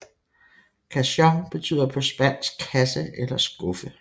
Cajón betyder på spansk kasse eller skuffe